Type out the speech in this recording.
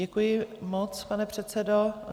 Děkuji moc, pane předsedo.